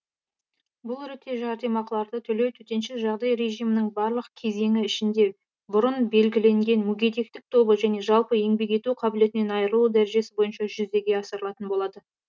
бұл ретте жәрдемақыларды төлеу төтенше жағдай режимінің барлық кезеңі ішінде бұрын белгіленген мүгедектік тобы және жалпы еңбек ету қабілетінен айырылу дәрежесі бойынша жүзеге асырылатын болады